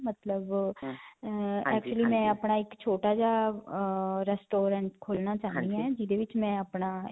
ਮਤਲਬ ਅਅ actually ਮੈਂ ਆਪਣਾ ਇਕ ਛੋਟਾ ਜਿਹਾ ਅਅ restaurant ਖੋਲ੍ਹਣਾ ਚਾਹੰਦੀ ਹਾਂ ਜਿਦੇ ਵਿਚ ਮੈਂ ਆਪਣਾ.